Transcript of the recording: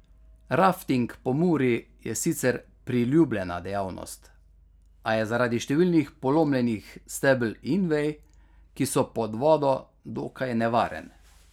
Rafting po Muri je sicer priljubljena dejavnost, a je zaradi številnih polomljenih stebel in vej, ki so pod vodo, dokaj nevaren.